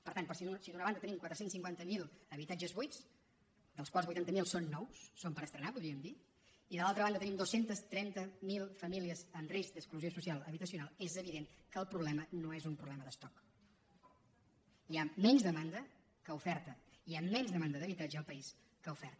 per tant si d’una banda tenim quatre cents i cinquanta miler habitatges buits dels quals vuitanta mil són nous són per estrenar podríem dir i de l’altra banda tenim dos cents i trenta miler famílies en risc d’exclusió social habitacional és evident que el problema no és un problema d’estoc hi ha menys demanda que oferta hi ha menys demanda d’habitatge al país que oferta